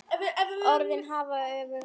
Orðin hafa öfug áhrif.